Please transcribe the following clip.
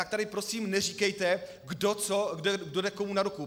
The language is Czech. Tak tady prosím neříkejte kdo co, kdo jde komu na ruku.